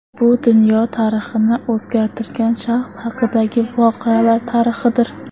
Bu dunyo tarixini o‘zgartirgan shaxs haqidagi voqelar tarixidir.